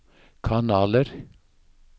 kanaler